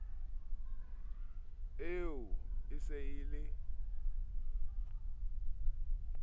eo e se e le